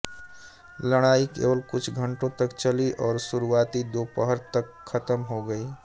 लड़ाई केवल कुछ घंटों तक चली और शुरुआती दोपहर तक खत्म हो गई